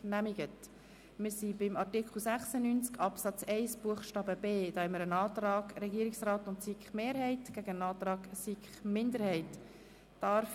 Bei Artikel 96 Absatz 1 Buchstabe b liegt ein Antrag Regierungsrat/SiK-Mehrheit gegen einen Antrag SiKMinderheit vor.